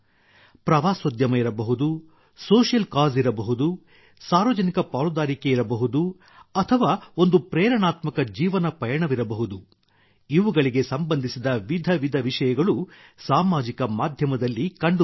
ಪ್ರವಾಸೋದ್ಯಮ ಇರಬಹುದು social causes ಇರಬಹುದು ಸಾರ್ವಜನಿಕ ಪಾಲುದಾರಿಕೆ ಇರಬಹುದು ಅಥವಾ ಒಂದು ಪ್ರೇರಣಾತ್ಮಕ ಜೀವನ ಪಯಣವಿರಬಹುದು ಇವುಗಳಿಗೆ ಸಂಬಂಧಿಸಿದ ವಿಧ ವಿಧ ವಿಷಯಗಳು ಸಾಮಾಜಿಕ ಮಾಧ್ಯಮದಲ್ಲಿ ಕಂಡುಬರುತ್ತವೆ